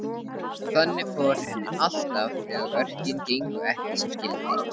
Þannig fór henni alltaf þegar verkin gengu ekki sem skyldi.